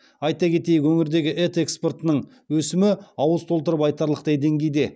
айта кетейік өңірдегі ет экспортының өсімі ауыз толтырып айтарлықтай деңгейде